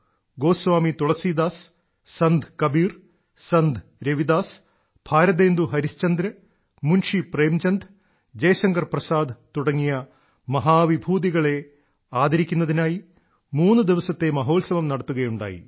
ഗോസ്വാമി തുളസീദാസ് സന്ത് കബീർ സന്ത് രവിദാസ് ഭാരതേന്ദു ഹരിശ്ചന്ദ്ര് മുൻഷി പ്രേംചന്ദ് ജയശങ്കർ പ്രസാദ് തുടങ്ങിയ മഹാ വിഭൂതികളെ ആദരിക്കുന്നതിനായി മൂന്നുദിവസത്തെ മഹോത്സവം നടത്തുകയുണ്ടായി